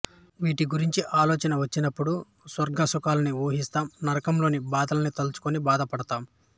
వీటి గురించి ఆలోచన వచినప్పుడు స్వర్గ సుఖాలని ఊహిస్తం నరకంలోని బాధల్ని తలచుకొని భయపడుతాం